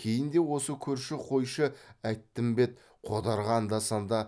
кейін де осы көрші қойшы әйттімбет қодарға анда санда